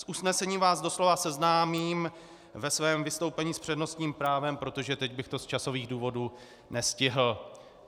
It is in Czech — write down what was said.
S usnesením vás doslova seznámím ve svém vystoupení s přednostním právem, protože teď bych to z časových důvodů nestihl.